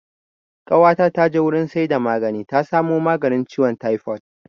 Ƙawata ta je wurin saida magani ta samo maganin ciwon taifod